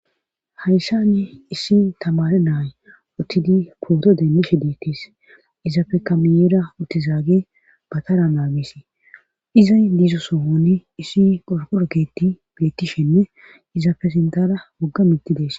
Hayssani issi tamare naay uttidi pooto deemmishe diittis izafe kamiyeera uttizaage batara naagisi izay diizo sohoni issi qorkolokketi biettishenne izaafe sintara wogga mittidees